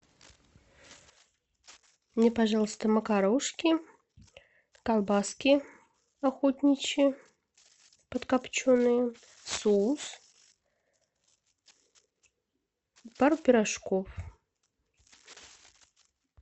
мне пожалуйста макарошки колбаски охотничьи подкопченные соус пару пирожков